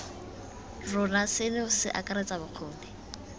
rona seno se akaretsa bokgoni